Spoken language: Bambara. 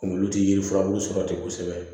Kunkolo tɛ yiri furabulu sɔrɔ ten kosɛbɛ